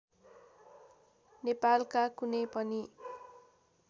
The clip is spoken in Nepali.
नेपालका कुनै पनि